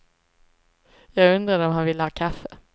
Jag undrade om han ville ha kaffe.